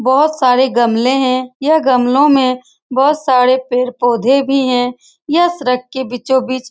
बहुत सारे गमले हैं यह गमलों में बहुत सारे पेड़-पौधे भी हैं यह सड़क के बीचो-बीच --